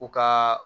U ka